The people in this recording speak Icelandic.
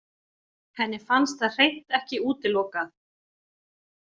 Henni fannst það hreint ekki útilokað.